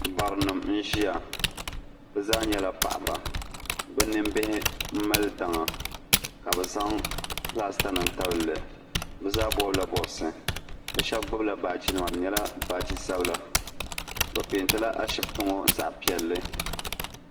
baranima n-ʒiya bɛ zaa nyɛla paɣiba bɛ nimbihi m-mali daŋa ka bɛ zaŋ pilaasitanima n-tabi li bɛ zaa bɔbila bɔbisi bɛ shɛba gbubila baajinima di nyɛla baaji sabila bɛ peentila ashibiti ŋɔ zaɣ' piɛlli